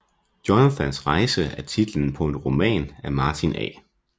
Jonathans rejse er titlen på en roman af Martin A